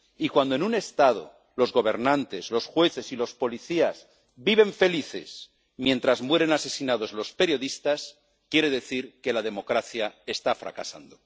Y cuando en un Estado los gobernantes, los jueces y los policías viven felices mientras mueren asesinados los periodistas, quiere decir que la democracia está fracasando.